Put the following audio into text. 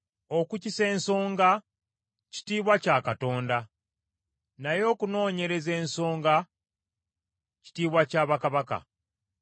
Okukisa ensonga kitiibwa kya Katonda, naye okunoonyereza ensonga kitiibwa kya bakabaka.